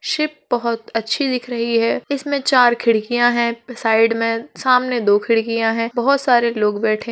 Ship बहोत अच्छी दिख रही है। इसमें चार खिड़कियां हैं साइड में। सामने दो खिड़कियां हैं। बहोत सारे लोग बैठे --